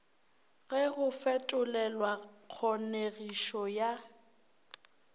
ge go fetolelwa kgonegišo ya